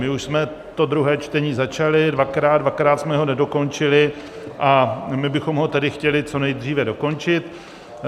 My už jsme to druhé čtení začali dvakrát, dvakrát jsme ho nedokončili a my bychom ho tedy chtěli co nejdříve dokončit.